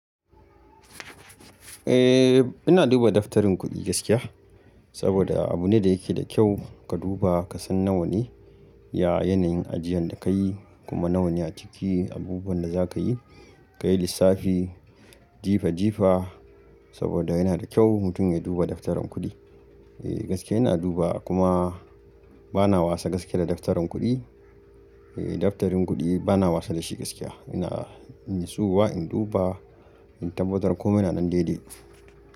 Eh ina duba daftarin kuɗi gaskiya saboda abu ne da yake da kyau ka duba ka san nawa ne ya yanayin ajiyan da ka yi kuma nawa ne a ciki abubuwan da za ka yi, ka yi lissafi jifa jifa saboda yana da kyau mutum ya duba daftarin kuɗi. Eh gaskiya ina duba kuma bana wasa gaskiya da daftarin kuɗi. Eh daftarin kuɗi bana wasa da shi gaskiya ina in yi tsowa in duba in tabbatar komai nanan daidai.